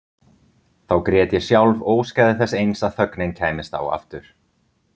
Þá grét ég sjálf og óskaði þess eins að þögnin kæmist á aftur.